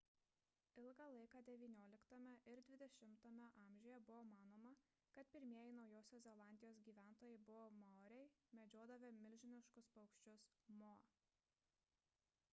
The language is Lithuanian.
ilgą laiką xix ir xx amžiuje buvo manoma kad pirmieji naujosios zelandijos gyventojai buvo maoriai medžiodavę milžiniškus paukščius moa